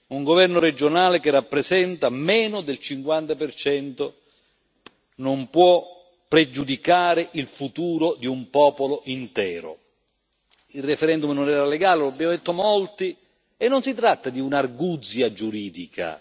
Un governo regionale che rappresenta meno del 50 non può pregiudicare il futuro di un popolo intero. Il referendum non era legale, lo abbiamo detto in molti e non si tratta di un'arguzia giuridica.